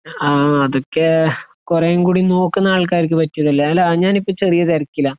അഹ് അതൊക്കെ കോറംകൂടെ നോക്കുന്ന ത്‌ പറ്റിയ അല്ലെ ഞാൻ ഇപ്പൊ ചെറിയ തിരക്കില